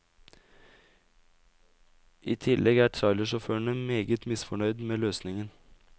I tillegg er trailersjåførene meget misfornøyd med løsningen.